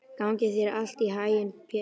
Gangi þér allt í haginn, Petrína.